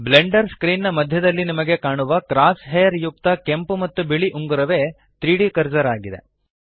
Blender screen ನ ಮಧ್ಯದಲ್ಲಿ ನಿಮಗೆ ಕಾಣುವ ಕ್ರಾಸ್ ಹೇರ್ ಯುಕ್ತ ಕೆಂಪು ಮತ್ತು ಬಿಳಿ ಉಂಗುರವೇ 3ದ್ ಕರ್ಸರ್ ಇದೆ